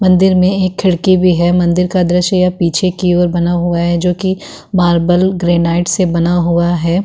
मंदिर में एक खिड़की भी है। मंदिर का दृश्य यह पीछे की ओर बना हुआ है जो की मार्बल ग्रेनाइट से बना हुआ है।